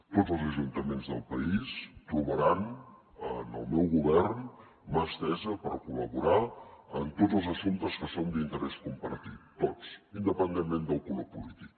tots els ajuntaments del país trobaran en el meu govern mà estesa per col·laborar en tots els assumptes que són d’interès compartit tots independentment del color polític